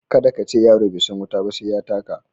Kada ka ce "yaro bai san wuta ba sai ya taka".